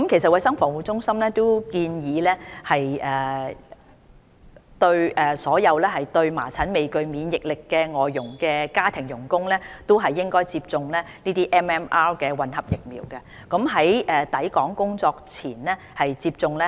衞生防護中心其實已建議所有對麻疹未具免疫力的外傭接種 MMR 混合疫苗，最好在抵港工作前接種。